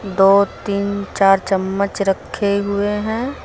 दो तीन चार चम्मच रखे हुए हैं।